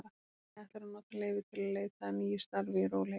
Hemmi ætlar að nota leyfið til að leita að nýju starfi í rólegheitunum.